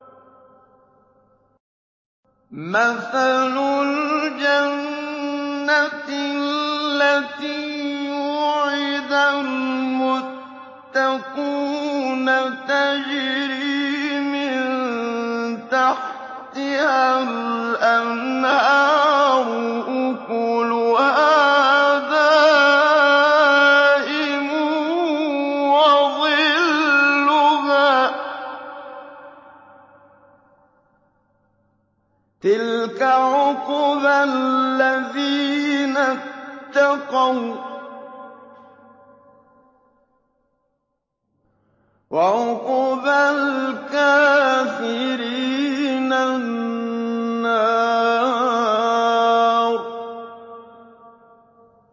۞ مَّثَلُ الْجَنَّةِ الَّتِي وُعِدَ الْمُتَّقُونَ ۖ تَجْرِي مِن تَحْتِهَا الْأَنْهَارُ ۖ أُكُلُهَا دَائِمٌ وَظِلُّهَا ۚ تِلْكَ عُقْبَى الَّذِينَ اتَّقَوا ۖ وَّعُقْبَى الْكَافِرِينَ النَّارُ